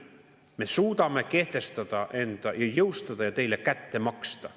Me suudame end kehtestada, jõustuda, ja teile kätte maksta".